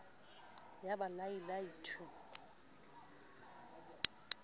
ya ba lai lai thu